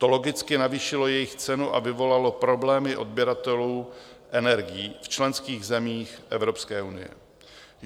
To logicky navýšilo jejich cenu a vyvolalo problémy odběratelů energií v členských zemích Evropské unie.